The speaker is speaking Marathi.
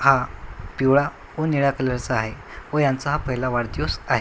हा पिवळा व निळा कलरचा आहे व यांचा हा पहिला वाढदिवस आहे.